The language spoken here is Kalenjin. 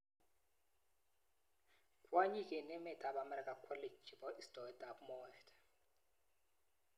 Kwonyik eng emet ab Amerika kwolei chebo istoet ab moet.